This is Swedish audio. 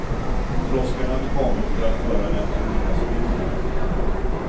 Droskan hade kommit för att föra dem till middagsbjudningen.